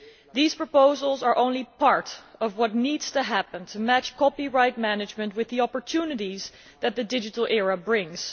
These proposals are only part of what needs to happen to match copyright management with the opportunities that the digital era brings.